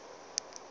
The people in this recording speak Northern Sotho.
e be e le la